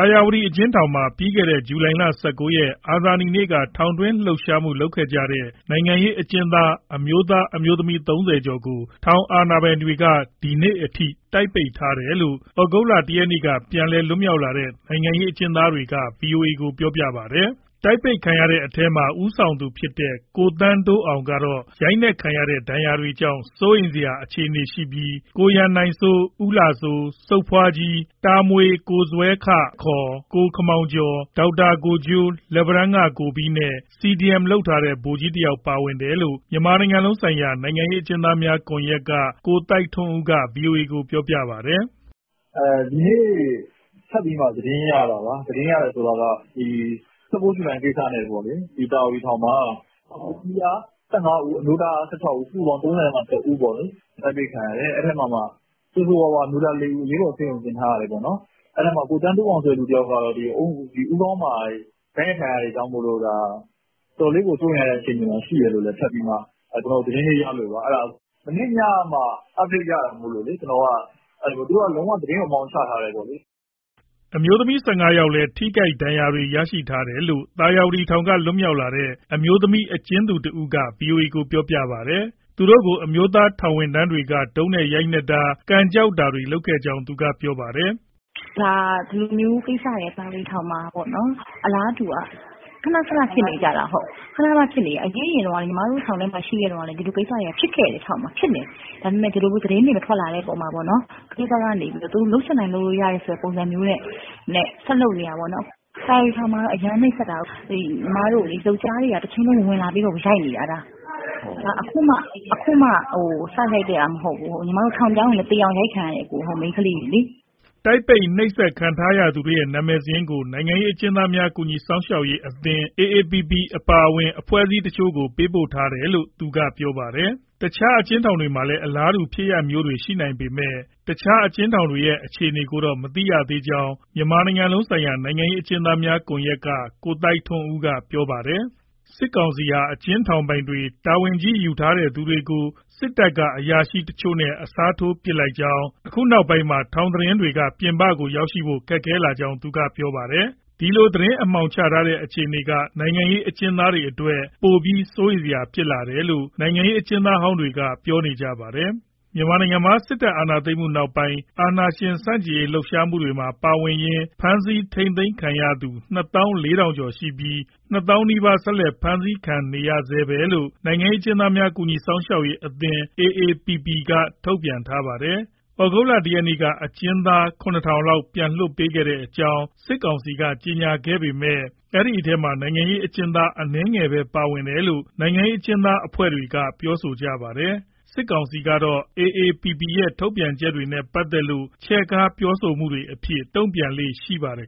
ာယာဝတီ အကျဉ်းထောင်မှာ ပြီးခဲ့တဲ့ ဇူလိုင်လ ၁၉ ရက်၊ အာဇာနည်နေ့က ထောင်တွင်းလှုပ်ရှားမှု လုပ်ခဲ့ကြတဲ့ နိုင်ငံရေး အကျဉ်းသား အမျိုးသား၊ အမျိုးသမီး ၃၀ ကျော်ကို ထောင်အာဏာပိုင်တွေက ဒီနေ့အထိ တိုက်ပိတ်ထားတယ်လို့ သြဂုတ်လ ၁ ရက်နေ့က ပြန်လည် လွတ်မြောက်လာတဲ့ နိုင်ငံရေး အကျဉ်းသားတွေက ဗွီအိုအေကို ပြောပါတယ်။ တိုက်ပိတ်ခံရတဲ့အထဲမှာ ဦးဆောင်သူဖြစ်တဲ့ ကိုသန်းတိုးအောင်ကတော့ ရိုက်နှက်ထားတဲ့ ဒဏ်ရာတွေကြောင့် စိုးရိမ်စရာ အခြေအနေရှိပြီး၊ ကိုရန်နိုင်စိုး၊ ဦးလှစိုး၊ စုတ်ဖွားကြီး၊ တာမွေ ကိုဇွဲခ ကိုခင်မောင်ကျော်၊ ဒေါက်တာကိုဂျိုး၊ လက်ပံတန်းက ကိုဘီးနဲ့ CDM လုပ်ထားတဲ့ ဗိုလ်ကြီးတယောက် ပါဝင်တယ်လို့ မြန်မာနိုင်ငံလုံးဆိုင်ရာ နိုင်ငံရေး အကျဉ်းသားများ ကွန်ရက်က ကိုသိုက်ထွန်းဦးက ဗွီအိုအေကို ပြောပါတယ်။ "ဒီနေ့ ထပ်ပြီးမှ သတင်းရတာပါ၊ ၁၉ ဇူလိုင် ကိစ္စနဲ့ပေါ့လေ။ သာယာဝတီ ထောင်မှာ အမျိုးသမီးက ၁၅ ဦး၊ အမျိုးသားက ၁၆ ဦး။ စုစုပေါင်း ၃၁ ဦး တိုက်ပိတ်ခံရတယ်။ အဲဒီမှာမှ ဆိုးဆိုးရွားရွား အမျိုးသား ၄ ဦး အရေးပေါ် ဆေးရုံတင်ထားရတယ်ပေါ့။ အဲဒီအထဲမှာ ကိုသန်းတိုးအောင် ဆိုတဲ့ လူတယောက်ကတော့ ဦးခေါင်းမှာ ရိုက်နှက်ခံရတာတွေကြောင့်မို့ တော်တော်လေးကို စိုးရိမ်ရတဲ့ အခြေအနေမှာ ရှိတယ်လို့ ထပ်ပြီးမှ ကျနော်တို့ သတင်းလေးရလို့ပါ။ မနေ့ညကမှ update ရတာမို့လို့။ သူတို့က လုံးဝ သတင်းကို အမှောင်ချထားတယ်ပေါ့လေ။" အမျိုးသမီး ၁၅ ယောက်လည်း ထိခိုက်ဒဏ်ရာ ရတာတွေ ရှိတယ်လို့ သာယာဝတီထောင်က လွတ်မြောက်လာတဲ့ အမျိုးသမီး အကျဉ်းသူတဦးက ဗွီအိုအေကို ပြောပါတယ်။ သူတို့ကို အမျိုးသား ထောင်ဝန်ထမ်းတွေက တုတ်နဲ့ ရိုက်နှက်တာ ကန်ကျောက်တာတွေ လုပ်ခဲ့ကြောင်း သူက ပြောပါတယ်။ "ဒီလိုကိစ္စတွေ သာယာဝတီထောင်မှာ အလားတူက ခဏခဏ ဖြစ်နေကြတာ။ ညီမတို့ ထောင်ထဲမှာ ရှိနေတုန်းကလည်း ဒီလို ကိစ္စတွေက ဖြစ်ခဲ့တယ်။ သတင်းတွေ မထွက်လာတော့ သူတို့ဘက်က သူတို့လုပ်ချင်တိုင်း လုပ်လို့ရတဲ့ ပုံစံမျိုးနဲ့ ဆက်လုပ်နေတာပေါ့နော်။ သာယာဝတီထောင်မှာ အရမ်းနှိပ်စက်တာ။ ညီမတို့ကို ယောကျ်ားတွေက တချိန်လုံး ဝင်လာပြီးတော့ ရိုက်နေတာ။ ညီမတို့ ထောင်ပြောင်းရင်လည်း သေအောင်ရိုက်ခံရတယ် မိန်းခလေးတွေ။" တိုက်ပိတ် နှိပ်စက် ခံထားရသူတွေရဲ့ နာမည်စာရင်းတွေကို နိုင်ငံရေး အကျဉ်းသားများ ကူညီစောင့်ရှောက်ရေးအဖွဲ့ AAPP အပါအဝင် အဖွဲ့အစည်းတချို့ကို ပေးပို့ထားတယ်လို့ သူက ပြောပါတယ်။ တခြား အကျဥ်းထောင်တွေမှာလည်း အလားတူ ဖြစ်ရပ်မျိုးတွေ ရှိနိုင်ပေမဲ့၊ တခြား အကျဉ်းထောင်တွေရဲ့ အခြေအနေကိုတော့ မသိရသေးကြောင်း မြန်မာနိုင်ငံလုံးဆိုင်ရာ နိုင်ငံရေးအကျဉ်းသားများ ကွန်ရက်က ကိုသိုက်ထွန်းဦးက ပြောပါတယ်။ စစ်ကောင်စီ ဟာ အကျဉ်းထောင်ပိုင်တွေ၊ တာဝန်ကြီးကြီး ယူထားသူတွေကို စစ်တပ်က အရာရှိတချို့နဲ့ အစားထိုး ပစ်လိုက်တာကြောင့် အခုနောက်ပိုင်းမှာ ထောင်သတင်းတွေက ပြင်ပကို ရောက်လာဖို့ ခဲယဉ်းကြောင်း သူက ပြောပါတယ်။ ဒီလို သတင်း အမှောင်ကျနေတဲ့ အခြေအနေက နိုင်ငံရေး အကျဉ်းသားတွေအတွက် ပိုပြီး စိုးရိမ်စရာ ဖြစ်လာတယ်လို့ နိုင်ငံရေး အကျဉ်းသားဟောင်းတွေက ပြောနေကြပါတယ်။ မြန်မာနိုင်ငံမှာ စစ်တပ် အာဏာသိမ်းမှုနောက်ပိုင်း အာဏာရှင်ဆန့်ကျင်ရေး လှုပ်ရှားမှုတွေမှာ ပါဝင်ရင်း ဖမ်းဆီး ထိန်းသိမ်းခံရသူ ၂ သောင်း ၄ ထောင်ကျော် ရှိပြီး ၂ သောင်းနီးပါး ဆက်လက် ဖမ်းဆီးခံနေရဆဲပဲလို့ နိုင်ငံရေးအကျဥ်းသားများ ကူညီစောင့်ရှောက်ရေ: အသင်း က ထုတ်ပြန်ထားပါတယ်။ သြဂုတ်လ ၁ ရက်နေ့က အကျဥ်းသား ၇,၀၀၀ လောက် ပြန်လွှတ်ပေးတဲ့အကြောင်း စစ်ကောင်စီက ကြေညာပေမဲ့ ဒီအထဲမှာ နိုင်ငံရေးအကျဥ်းသား အနည်းငယ်သာ ပါဝင်တယ်လို့ နိုင်ငံရေး အကျဥ်းသား အဖွဲ့တွေက ပြောဆိုကြပါတယ်။ စစ်ကောင်စီကတော့ AAPP ရဲ့ ထုတ်ပြန်ချက်တွေနဲ့ ပတ်သက်လို့ ချဲ့ကား ပြောဆိုမှုတွေအဖြစ် တုံ့ပြန်လေ့ ရှိပါတယ်